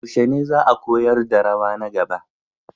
Yaushe ne za a koyar da rawa na gaba?